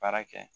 Baara kɛ